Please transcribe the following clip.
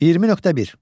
20.1.